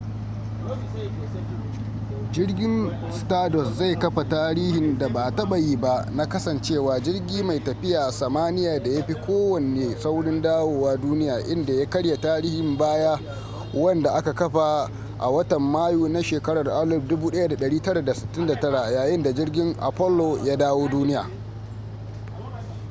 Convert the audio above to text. jirgin stardust zai kafa tarihin da ba a taba yi ba na kasancewa jirgi mai tafiya samaniya da ya fi kowanne saurin dawowa duniya inda ya karya tarihin baya wanda aka kafa a watan mayu na shekarar 1969 yayin da jirgin apollo ya dawo duniya